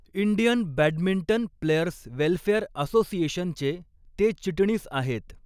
Indian badminton players welfare असोसिएशनचे ते चिटणीस आहेत.